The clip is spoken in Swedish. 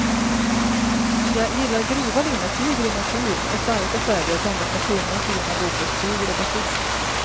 Jag gillar grova linnetyger i natur och starka färger blandat med tunna fina bomullstyger och batist.